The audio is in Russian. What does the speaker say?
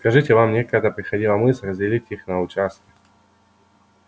скажите вам никогда не приходила мысль разделить их на участки